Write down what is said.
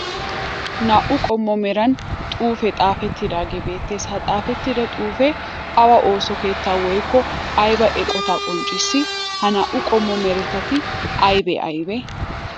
Naa 'u qommo meran xuufe xaafetidaage beetes, ha xaafetida xuufe awa ooso keetta woykko ayba eqotta qonccissi? Ha naa'u qommo meratti aybe aybe?